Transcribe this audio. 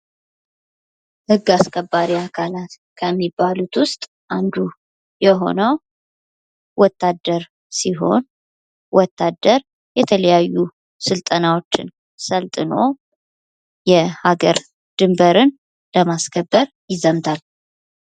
ህግ አስከባሪ አካላት ከሚባሉት ውስጥ አንዱ የሆነው ወታደር ሲሆን ወታደር የተለያዩ ስልጠናዎችን ሰልጥኖ የሀገር ድንበርን ለማስከበር ይዘምታል።